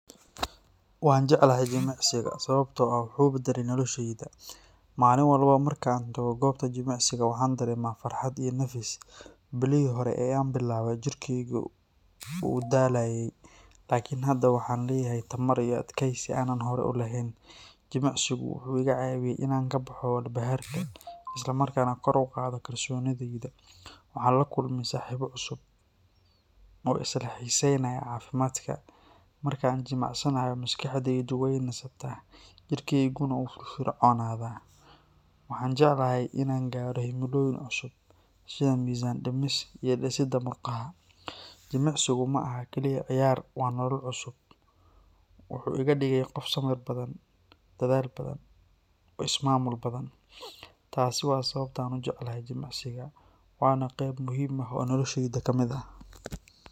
Waxaan jeclahay jimicsiga sababtoo ah wuxuu beddelay nolosheyda. Maalin walba marka aan tago goobta jimicsiga, waxaan dareemaa farxad iyo nafis. Bilihii hore ee aan bilaabay, jirkeygu wuu daalayey, laakin hadda waxaan leeyahay tamar iyo adkaysi aanan horay u lahayn. Jimicsigu wuxuu iga caawiyey in aan ka baxo walbahaarka, isla markaana kor u qaado kalsoonideyda. Waxaan la kulmay saaxiibo cusub oo isla xiiseynaya caafimaadka. Marka aan jimicsanayo, maskaxdeydu wey nastaa, jirkeyguna wuu firfircoonaadaa. Waxaan jeclahay inaan gaadho himilooyin cusub sida miisaan dhimis iyo dhisidda murqaha. Jimicsigu ma aha kaliya ciyaar, waa nolol cusub. Wuxuu iga dhigay qof sabir badan, dadaal badan, oo is-maamul badan. Taasi waa sababta aan u jeclahay jimicsiga, waana qeyb muhiim ah oo nolosheyda ka mid ah.